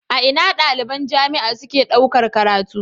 A Ina daliban jamia ke ɗaukar karatu